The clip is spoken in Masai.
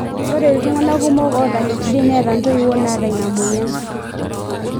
Ore ltunganak kumok ota HD netaa entoiwoi nata ina moyian.